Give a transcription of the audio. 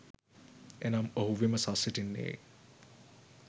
එනම් ඔහු විමසා සිටින්නේ